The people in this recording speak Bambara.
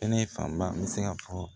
Kɛnɛ fanba n bɛ se ka fɔ